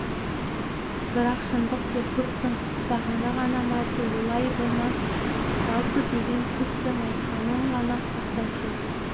бірақ шындық тек көптің құптағаны ғана ма олай болмас жалпы деген көптің айтқанын ғана қостаушы